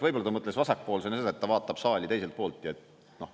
Võib-olla ta mõtles vasakpoolse, nii edasi, et ta vaatab saali teiselt poolt.